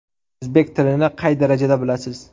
O‘zbek tilini qay darajada bilasiz?